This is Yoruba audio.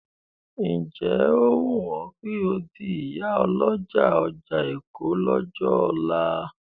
Ǹ jẹ́ ó wùn ọ́ kò di ìyálọ́jà ọjà Èkó lọ́jọ́ ọ̀la?